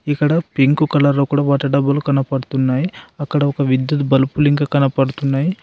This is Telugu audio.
ఇక్కడ పింక్ కలర్లో కూడా వాటర్ డబ్బాలు కనపడుతున్నాయి అక్కడ ఒక విద్యుత్ బల్పులింక కనపడుతున్నాయి.